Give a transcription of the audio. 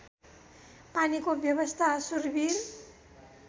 पानीको व्यवस्था सुरविर